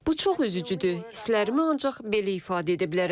Bu çox üzücüdür, hisslərimi ancaq belə ifadə edə bilərəm.